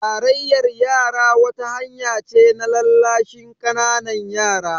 Tarayyar yara wata hanya ce na lallashin ƙananan yara